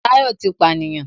Táyọ̀ ti pànìyàn